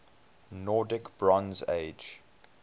nordic bronze age